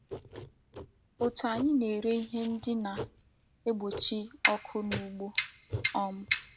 Otu anyị na-ere ihe ndị na-egbochi ọkụ n'ugbo. um